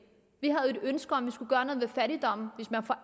ønske om at man skulle gøre noget ved fattigdommen hvis man for